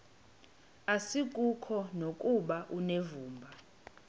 asikuko nokuba unevumba